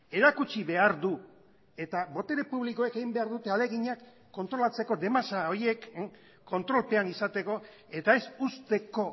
erakutsi behar du eta botere publikoek egin behar dute ahaleginak kontrolatzeko de masa horiek kontrolpean izateko eta ez uzteko